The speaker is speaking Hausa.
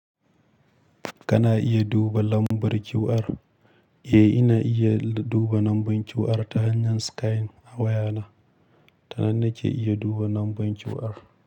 Kana iya duba lambar QR. Eh, ina iya duba lambar QR ta hanyar Skainin a wayana. Tanan na ke iya duba lambar QR.